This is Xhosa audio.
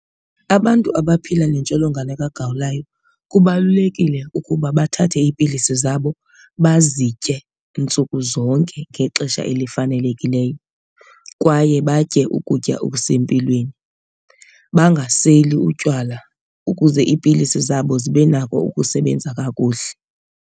Abantu abaphila nentsholongwane kagawulayo kubalulekile ukuba bathathe iipilisi zabo bazitye ntsuku zonke ngexesha elifanelekileyo leyo kwaye batye ukutya okusempilweni. Bangaseli utywala ukuze iipilisi zabo zibe nako ukusebenza kakuhle.